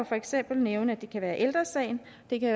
for eksempel nævne at det kan være ældre sagen det kan